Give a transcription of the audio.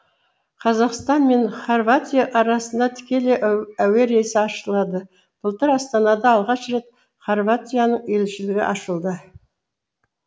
қазақстан мен хорватия арасында тікелей әуе рейсі ашылады былтыр астанада алғаш рет хорватияның елшілігі ашылды